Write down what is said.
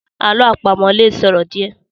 Àlọ́ àpamọ̀ lè sòro díẹ̀